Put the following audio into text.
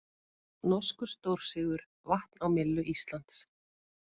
Norskur stórsigur vatn á myllu Íslands